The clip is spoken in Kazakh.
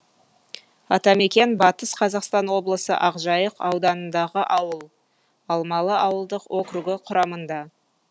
атамекен батыс қазақстан облысы ақжайық ауданындағы ауыл алмалы ауылдық округі құрамында